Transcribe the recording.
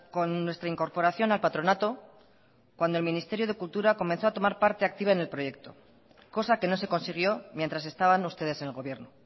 con nuestra incorporación al patronato cuando el ministerio de cultura comenzó a tomar parte activa en el proyecto cosa que no se consiguió mientras estaban ustedes en el gobierno